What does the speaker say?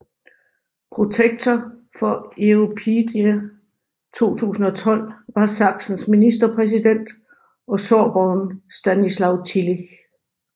Protektor for Europeada 2012 var Sachsens ministerpræsident og sorberen Stanislaw Tillich